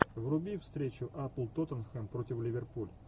вруби встречу апл тоттенхэм против ливерпуль